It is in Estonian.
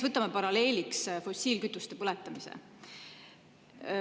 Võtame paralleeliks näiteks fossiilkütuste põletamise.